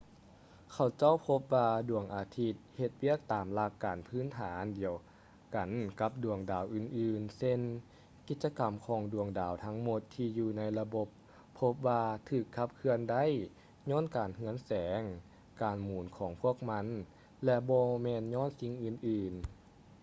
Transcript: ເຂົາເຈົ້າພົບວ່າດວງອາທິດເຮັດວຽກຕາມຫຼັກການພື້ນຖານດຽວກັນກັບດວງດາວອື່ນໆເຊັ່ນ ກິດຈະກຳຂອງດວງດາວທັງໝົດທີ່ຢູ່ໃນລະບົບພົບວ່າຖືກຂັບເຄື່ອນໄດ້ຍ້ອນການເຮືອງແສງ ການໝູນຂອງພວກມັນ ແລະ ບໍ່ແມ່ນຍ້ອນສິິ່ງອື່ນ